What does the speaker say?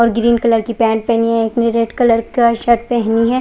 और green colour की pant पहनी है उसने रेड कलर का शर्ट पहनी है।